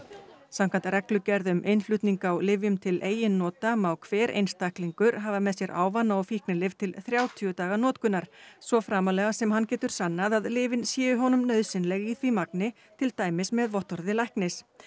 samkvæmt reglugerð um innflutning á lyfjum til eigin nota má hver einstaklingur hafa með sér ávana og fíknilyf til þrjátíu daga notkunar svo framarlega sem hann getur sannað að lyfin séu honum nauðsynleg í því magni til dæmis með vottorði læknis